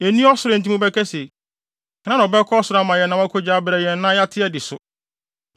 Enni ɔsoro a enti mobɛka se, “Hena na ɔbɛkɔ ɔsoro ama yɛn na wakogye abrɛ yɛn, na yɛate adi so?”